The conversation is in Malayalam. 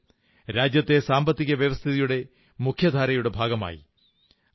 സഹോദരനും രാജ്യത്തെ സാമ്പത്തിക വ്യവസ്ഥിതിയുടെ മുഖ്യധാരയുടെ ഭാഗമായി